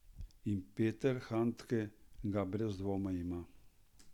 In Peter Handke ga brez dvoma ima.